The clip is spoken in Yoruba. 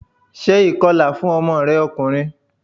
Ṣé ìkọla fún ọmọ rẹ ọkùnrin!